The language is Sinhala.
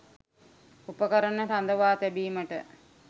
උපකරණ රඳවා තැබීමට